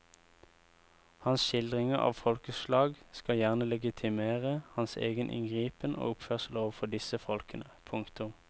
Hans skildringer av folkeslag skal gjerne legitimere hans egen inngripen og oppførsel overfor disse folkene. punktum